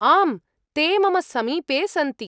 आम्, ते मम समीपे सन्ति।